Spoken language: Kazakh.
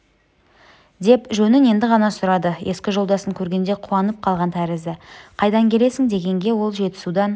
деп жөнін енді ғана сұрады ескі жолдасын көргенде қуанып қалған тәрізді қайдан келесің дегенге ол жетісудан